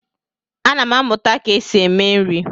Ana m amụta ka esi eme nri.